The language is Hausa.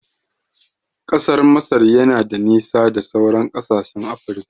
Ƙasar Masar yana da nisa da sauran kasashen Afirika